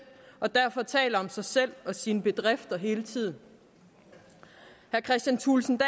og derfor taler om sig selv og sine bedrifter hele tiden herre kristian thulesen